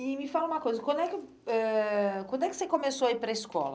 E me fala uma coisa, quando é que eh quando é que você começou a ir para a escola?